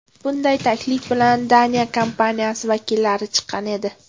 Bunday taklif bilan Daniya kompaniyasi vakillari chiqqan edi.